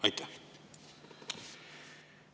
Aitäh!